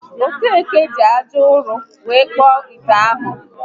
Okeke ji aja ụrọ were kpụọ ite ahụ